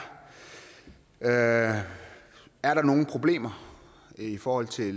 er er der nogen problemer i forhold til